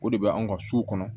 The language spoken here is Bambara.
O de bɛ anw ka so kɔnɔ